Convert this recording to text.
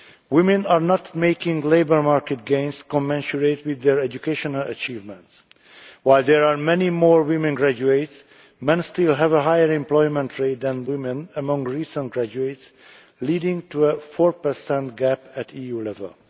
Women are not making labour market gains commensurate with their educational achievements. While there are many more women graduates, men still have a higher employment rate than women among recent graduates, leading to a 4 gap at EU level.